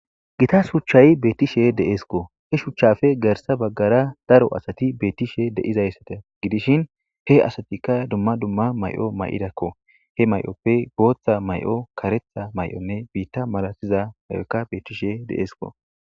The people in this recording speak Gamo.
gita shuchchay beettishe de7eskko he shuchchafe gersa baggara daro asati beettishe de7izayssate gidishin he asatikka dumma dumma may7o may7idakko he may7oppe booththa may7o karetha may7onne biitta malatiza may7okka beettishe deesko